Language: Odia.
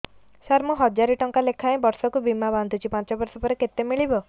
ସାର ମୁଁ ହଜାରେ ଟଂକା ଲେଖାଏଁ ବର୍ଷକୁ ବୀମା ବାଂଧୁଛି ପାଞ୍ଚ ବର୍ଷ ପରେ କେତେ ମିଳିବ